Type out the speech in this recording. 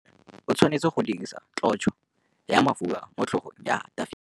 Samuele o tshwanetse go dirisa tlotsô ya mafura motlhôgong ya Dafita.